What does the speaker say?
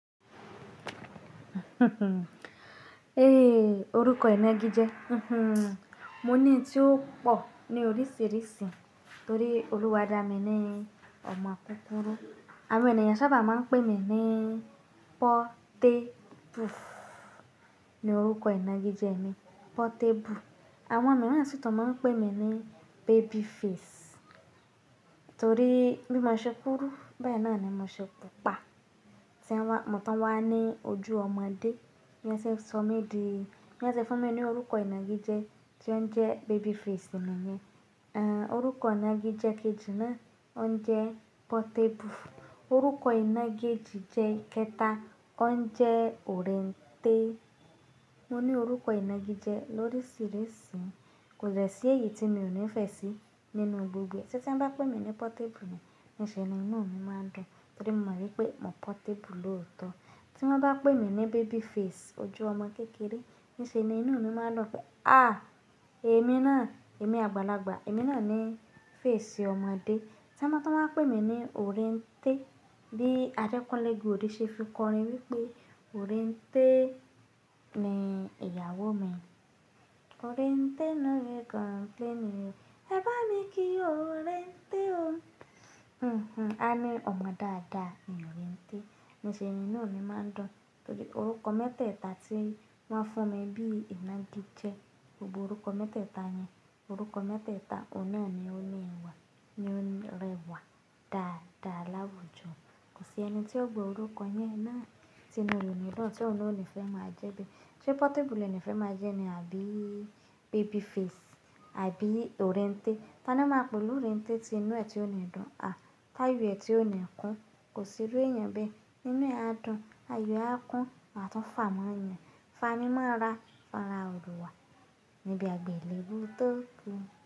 Hmm, orúkọ ìnagijẹ, mhmm. Mo ní tí ó pọ̀ ní oríṣìíríṣìí torí olúwa dà mí ní ọmọ kúkúrú. Àwọn ènìyàn sábà máa ń pè mí ní Pọ́tẹ́bu. Ni orúkọ ìnagijẹ mi, Pọ́tẹ́pu. Àwọn mìíràn sì tàn máa ń pè mí ní Babyface torí bí mo ṣe kúru, bẹ́ẹ̀ nà ni mo ṣe pupa. Mò tó wá ní ojú ọmọdé. Ni wọ́n ṣe sọ mí dì, ni wan sé fún mi ní orúkọ ìnagijẹ tí ó ń jẹ Babyface nìyẹn. Eh, orúkọ ìnagijẹ kejì náà ó ń jẹ Pọ́tẹ́bu. Orúkọ ìnagijẹ ìkéta ó ń jẹ Òréńtẹ́. Mo ní orúkọ ìnagijẹ lóríṣìíríṣìí kò dẹ̀ sí èyí tí mio nífẹ̀ẹ́ sí nínú gbogbo ẹ̀ tí wọ́n bá pè mí ní Pọ́tẹ́bu ni, níṣe nínú mi máa ń dùn torí mo mọ̀ wípé mo Pọ́tẹ́bu lóòótọ́. Tí wọ́n bá pè mí ní Babyface, ojú ọmọ kékeré, níṣe inú mi máa ń lọ pé à, èmi náà, èmi àgbàlagbà, èmi náà ní face ọmọdé. Tí wọ́n bá tàn wá pè mí ní Òréńtẹ́ bí Adekunle Gold ṣe fi kọrin wípé Òréńtẹ́ ni ìyàwó mi. Òréńtẹ́ no dey complaining o, ẹ bá mi kí Òréńtẹ́ o. Mhmm, a ní ọmọ dada ni Òréńtẹ́. Níṣe inú mi máa ń dùn torí orúkọ mẹ́tẹ̀ẹ̀ta tí wọ́n fún mi bí ìnagijẹ, gbogbo orúkọ mẹ́tẹ̀ẹ̀ta yẹn, orúkọ mẹ́tẹ̀ẹ̀ta ọ̀nà ni ó rẹ̀ wà, ni ó lẹ́wà dáadáa láwùjọ. Kò sí ẹni tí ó gbé orúkọ yẹn náà tí inú rẹ̀ ò ní dùn tí òun ó nífẹ̀ẹ́ máa jẹ́ bíi. Ṣé Pọ́tẹ́bu ni ó nífẹ̀ẹ́ máa jẹ́ ni àbí Babyface àbí Òréńtẹ́? Tani máa pè olú Òréńtẹ́ ti inú ẹ ti ó ń dùn, ti ayọ̀ ẹ ti ó ńi kún, kò sì ru èèyàn bẹ́ẹ̀. Inú ẹ á dùn, ààyò ẹ á kún, wá tún fà máa yàn, fàá mi mo rà, fàá rà rowà níbi àgbélébùú tó kú.